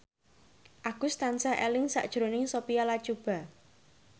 Agus tansah eling sakjroning Sophia Latjuba